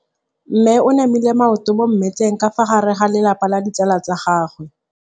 Mme o namile maoto mo mmetseng ka fa gare ga lelapa le ditsala tsa gagwe.